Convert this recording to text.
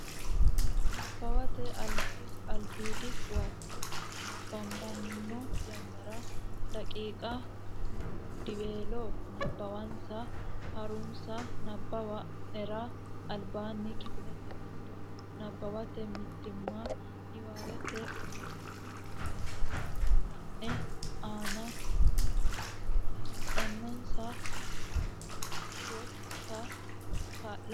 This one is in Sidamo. Nabbawate Albiidi Huwato nabbabbanno yannara daqiiqa mommodiweello nabbawansa ha runsi nabbawa nera albaanni Kifilete giddo nabbawate mitiimma niwaawete umonna misile la ine aane heedhanonsa heedhuro kaa linsa.